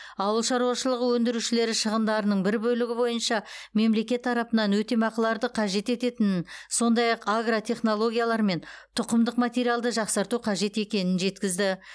ауыл шаруашылығы өндірушілері шығындардың бір бөлігі бойынша мемлекет тарапынан өтемақыларды қажет ететінін сондай ақ агротехнологиялар мен тұқымдық материалды жақсарту қажет екенін жеткізді